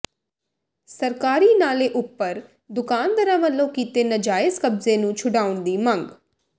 ਸਰਕਾਰੀ ਨਾਲੇ ਉੱਪਰ ਦੁਕਾਨਦਾਰਾਂ ਵੱਲੋਂ ਕੀਤੇ ਨਾਜਾਇਜ਼ ਕਬਜ਼ੇ ਨੂੰ ਛੁਡਵਾਉਣ ਦੀ ਮੰਗ